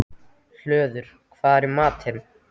Hlöður, hvað er í matinn?